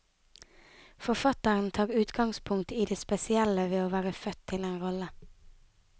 Forfatteren tar utgangspunkt i det spesielle ved å være født til en rolle.